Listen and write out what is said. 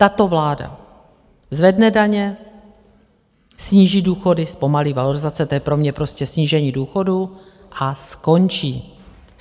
Tato vláda zvedne daně, sníží důchody, zpomalí valorizace, to je pro mě prostě snížení důchodů a skončí.